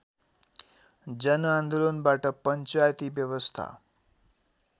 जनआन्दोलनबाट पञ्चायती व्यवस्था